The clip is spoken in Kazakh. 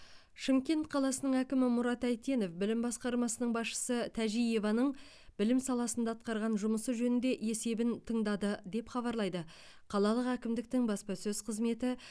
шымкент қаласының әкімі мұрат әйтенов білім басқармасының басшысы тәжиеваның білім саласында атқарған жұмысы жөнінде есебін тыңдады деп хабарлайды қалалық әкімдіктің баспасөз қызметі